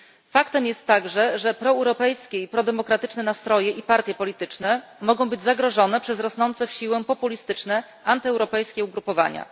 Faktem jest także, że proeuropejskie i prodemokratyczne nastroje i partie polityczne mogą być zagrożone przez rosnące w siłę populistyczne, antyeuropejskie ugrupowania.